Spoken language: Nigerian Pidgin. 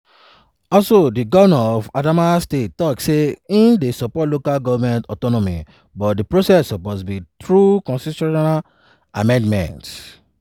also di govnor of adamawa state tok say im dey support local goment autonomy but di process suppose be through constitutional amendment.